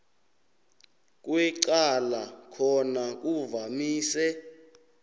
kwecala khona kuvamise